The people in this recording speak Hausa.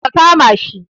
Ka kama shi